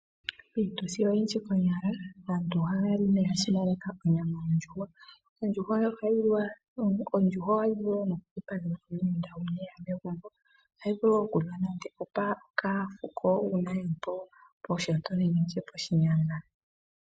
Miituthi oyindji konyala aantu ohaya li no oya simaneka onyama yondjuhwa. Ondjuhwa ohayi vulu nokudhipagelwa aahenda noshowoo aafuko uuna yeli poshinyanga.